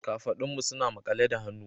Kafadunmu suna makale da hannu